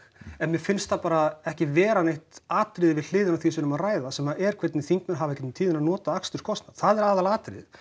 en mér finnst það bara ekki vera neitt atriði við hliðina á því sem við erum að ræða sem er hvernig þingmenn hafa í gegnum tíðina notað aksturskostnað það er aðalatriðið